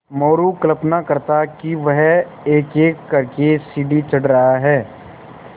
मोरू कल्पना करता कि वह एकएक कर के सीढ़ी चढ़ रहा है